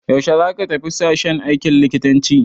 Yaushe za ka tafi sashen aikin likitanci?